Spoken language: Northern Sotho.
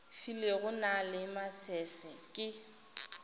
filego na le masese ke